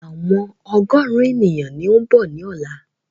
Àwọn ọgọ́rùn ènìyàn ni ó ń bọ̀ ni ọ̀la